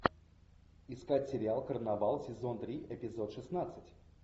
искать сериал карнавал сезон три эпизод шестнадцать